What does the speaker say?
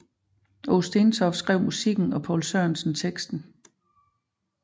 Aage Stentoft skrev musikken og Poul Sørensen teksten